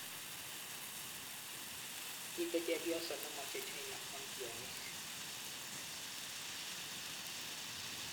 Mitei Chepyoso nemoche China kwam tyong'iik.